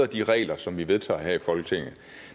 de regler som vi vedtager her i folketinget